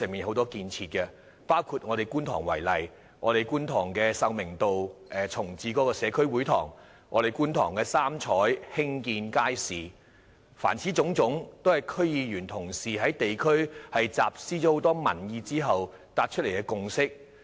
以我所屬的選區觀塘為例，這些建設包括在秀明道重置社區會堂，以及興建"三彩"街市，凡此種種都是區議員同事在地區廣集民意後達成的共識。